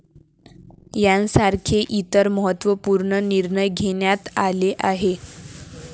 यांसारखे इतर महत्वपूर्ण निर्णय घेण्यात आले आहेत.